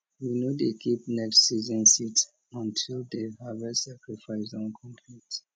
we no dey keep next season seeds until di harvest sacrifice don complete